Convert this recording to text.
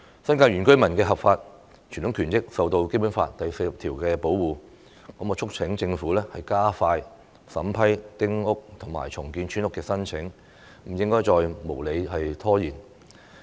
新界原居民的合法傳統權益受到《基本法》第四十條保護，我促請政府加快審批丁屋及重建村屋的申請，不應該再無理拖延。